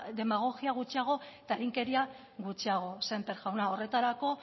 demagogia gutxiago eta eginkeria gutxiago sémper jauna horretarako